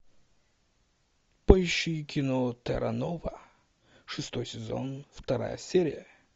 поищи кино терра нова шестой сезон вторая серия